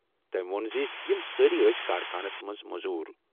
تٔمۍ ووٚن زِ یِم سٲری ٲسۍ کارخانَس منٛز مٔزوٗر۔